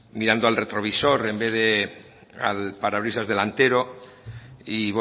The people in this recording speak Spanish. mirando al retrovisor en vez de al parabrisas delantero y